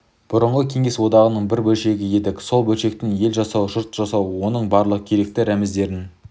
бұрынғы кеңес одағының бір бөлшегі едік сол бөлшектен ел жасау жұрт жасау оның барлық керекті рәміздерін